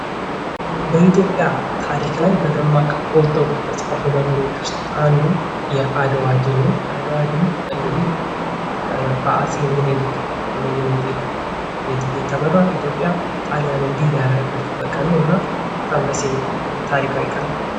በኢትዮጵያ ታሪክ ላይ በደማቅ ጎልተው ከተፃፉ ነገሮች ውሰጥ አንዱ የአድዋ ድል ነው። የአድዋ ድል እንግዲህ በአፄ ሚኒሊክ እየተመራ ኢትዮጲያ ጣሊያንን ድል ያደረገችበት ቀን ነው እናም ደስ የሚል ታሪካዊ ቀን ነው።